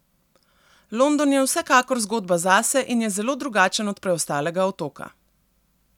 London je vsekakor zgodba zase in je zelo drugačen od preostalega otoka.